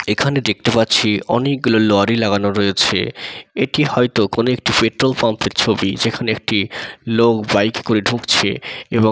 এখানে দেখতে পাচ্ছি অনেকগুলো লড়ি লাগানো রয়েছে এটি হয়তো কোন পেট্রোল পাম্প এর ছবি যেখান একটি লোক বাইকে করে ঢুকছে এবং--